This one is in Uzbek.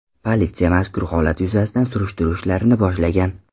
Politsiya mazkur holat yuzasidan surishtiruv ishlarini boshlagan.